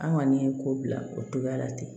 An kɔni ye ko bila o togoya la ten